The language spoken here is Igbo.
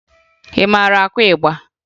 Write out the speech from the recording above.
Ị mara akụ ịgba?